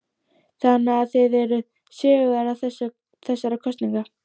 Lóa: Þannig að þið eruð sigurvegarar þessara kosninga?